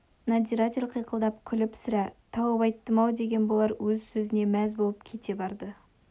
надзиратель қиқылдап күліп сірә тауып айттым-ау деген болар өз сөзіне мәз болып кете барды